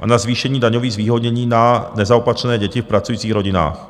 a na zvýšení daňových zvýhodnění na nezaopatřené děti v pracujících rodinách.